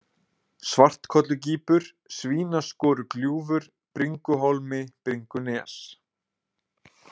Svartkollugýpur, Svínaskorugljúfur, Bringuhólmi, Bringunes